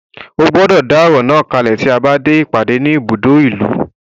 Ó gbọ́dọ̀ dá ọ̀rọ̀ náà kalẹ̀ tí a bá dé ìpàdé ní ibùdó ìlú.